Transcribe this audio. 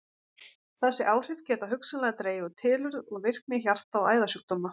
Þessi áhrif geta hugsanlega dregið úr tilurð og virkni hjarta- og æðasjúkdóma.